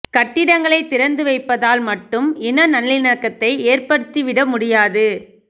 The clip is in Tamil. கட்டிடங்களை திறந்து வைப்பதால் மட்டும் இன நல்லிணக்கத்தை ஏற்படுத்தி விட முடியாது